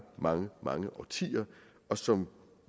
mange mange årtier og som